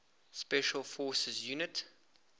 special forces units